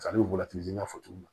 n y'a fɔ cogo min na